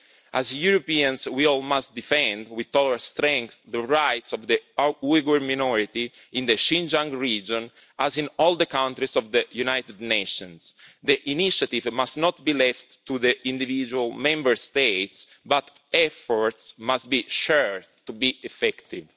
As Europeans, we all must defend with all our strength the rights of the Uyghur minority in the Xinjiang region, as in all the countries of the United Nations. The initiative must not be left to the individual Member States but efforts must be shared to be effective.